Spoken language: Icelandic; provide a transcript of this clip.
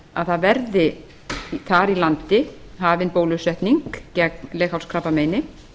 að það verði þar í landi hafin bólusetning gegn leghálskrabbameini